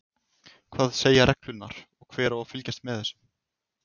Hvað segja reglurnar og hver á að fylgjast með þessu?